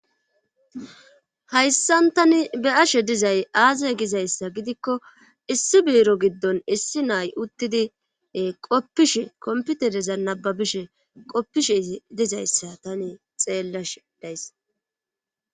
hayssan tani be ashe dizay aaza gizayssa gidikko issi biiro giddon issi nay uttidi qoppishe komputereza nababishe qoppishe dizayssa tani xeellash days